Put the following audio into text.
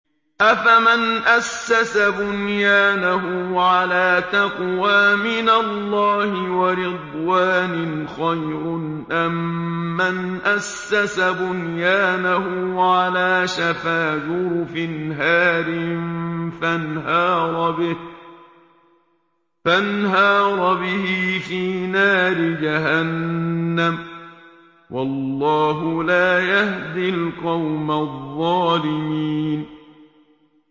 أَفَمَنْ أَسَّسَ بُنْيَانَهُ عَلَىٰ تَقْوَىٰ مِنَ اللَّهِ وَرِضْوَانٍ خَيْرٌ أَم مَّنْ أَسَّسَ بُنْيَانَهُ عَلَىٰ شَفَا جُرُفٍ هَارٍ فَانْهَارَ بِهِ فِي نَارِ جَهَنَّمَ ۗ وَاللَّهُ لَا يَهْدِي الْقَوْمَ الظَّالِمِينَ